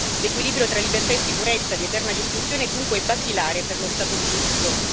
L'equilibrio tra libertà e sicurezza di eterna discussione è dunque basilare per lo Stato di diritto.